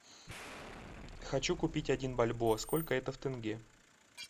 хочу купить один бальбоа сколько это в тенге